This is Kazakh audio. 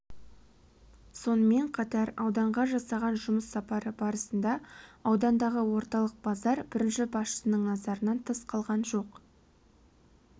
сонымен қатар ауданға жасаған жұмыс сапары барысында аудандағы орталық базар бірінші басшының назарынан тыс қалған жоқ